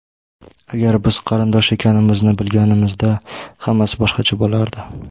Agar biz qarindosh ekanimizni bilganimizda, hammasi boshqacha bo‘lardi.